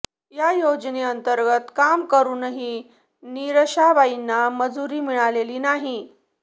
या योजनेअंतर्गत काम करूनही निरशाबाईंना मजुरी मिळालेली नाही